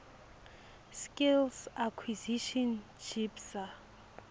skills acquisition jipsa